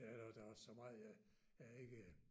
Det er der der er så meget jeg jeg ikke